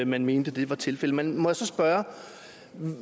man mente det var tilfældet men må jeg så spørge